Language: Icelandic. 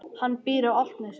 Hann býr á Álftanesi.